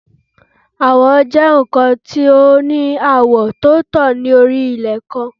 Awọ jẹ nkan ti o ni awọ ti o tan lori ilẹ kan